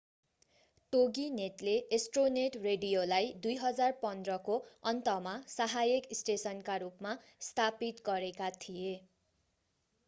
टोगीनेटले Astronet रेडियोलाई 2015 को अन्तमा सहायक स्टेशनका रूपमा स्थापित गरेका थिए